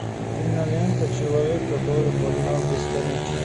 кинолента человек который познал бесконечность